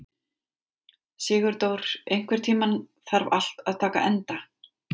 Sigurdór, einhvern tímann þarf allt að taka enda.